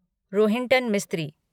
Rohinton Mistry